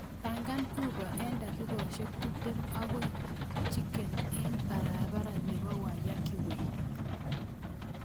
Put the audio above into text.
Pangan uber en dakikoshek tiptem agoi chicken in en barabara nepo waiyaki way